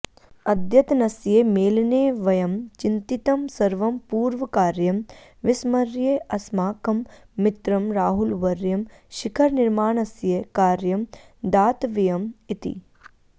अद्यतनस्य मेलने वयं चिन्तितं सर्वं पूर्वकार्यं विस्मर्य अस्माकं मित्रं राहुलवर्यं शिखरनिर्माणस्य कार्यं दातव्यम् इति